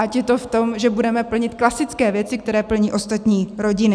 Ať je to v tom, že budeme plnit klasické věci, které plní ostatní rodiny.